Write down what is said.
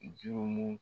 Jomu